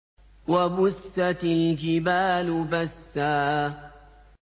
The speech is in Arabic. وَبُسَّتِ الْجِبَالُ بَسًّا